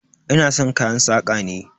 Ina san kayan saƙa ne.